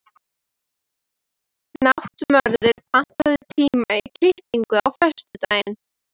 Náttmörður, pantaðu tíma í klippingu á föstudaginn.